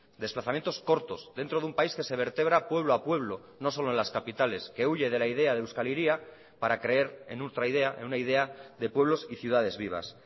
desplazamientos cortos dentro de un país que se vértebra pueblo a pueblo no solo en las capitales que huye de la idea de euskal hiria para creer en ultra idea en una idea de pueblos y ciudades vivas